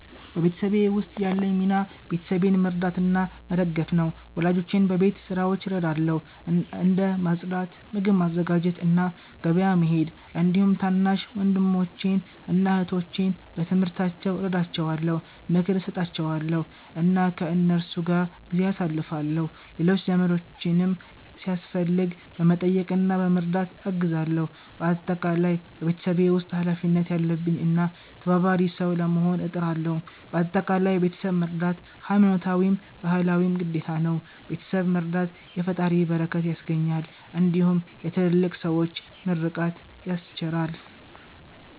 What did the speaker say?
በቤተሰቤ ውስጥ ያለኝ ሚና ቤተሰቤን መርዳትና መደገፍ ነው። ወላጆቼን በቤት ስራዎች እረዳለሁ፣ እንደ ማጽዳት፣ ምግብ ማዘጋጀት እና ገበያ መሄድ። እንዲሁም ታናሽ ወንድሞቼን እና እህቶቼን በትምህርታቸው እረዳቸዋለሁ፣ ምክር እሰጣቸዋለሁ እና ከእነሱ ጋር ጊዜ አሳልፋለሁ። ሌሎች ዘመዶቼንም ሲያስፈልግ በመጠየቅ እና በመርዳት አግዛለሁ። በአጠቃላይ በቤተሰቤ ውስጥ ኃላፊነት ያለብኝ እና ተባባሪ ሰው ለመሆን እጥራለሁ። በአጠቃላይ ቤተሰብ መርዳት ሀይማኖታዊም ባህላዊም ግዴታ ነው። ቤተሰብ መረዳት የፈጣሪን በረከት ያስገኛል እንዲሁም የትልልቅ ሠዎችን ምርቃት ያስቸራል።